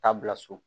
Taa bila so